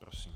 Prosím.